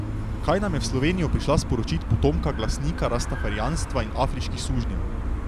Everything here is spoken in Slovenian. Kaj nam je v Slovenijo prišla sporočit potomka glasnika rastafarijanstva in afriških sužnjev?